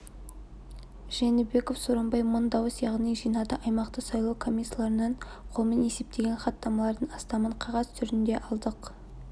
жээнбеков сооронбай мың дауыс яғни жинады аймақтық сайлау комиссияларынан қолмен есептелген хаттамалардың астамын қағаз түрінде алдық